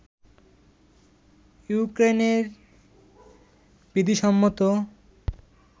ইউক্রেইনের বিধিসম্মত